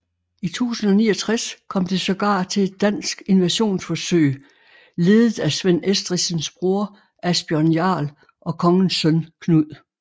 I 1069 kom det sågar til et dansk invasionsforsøg ledet af Svend Estridsens broder Asbjørn Jarl og kongens søn Knud